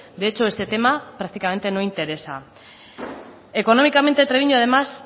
de hecho este tema prácticamente no interesa económicamente treviño además